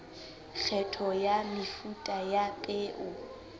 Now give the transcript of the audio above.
kgetho ya mefuta ya peo